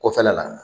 Kɔfɛla la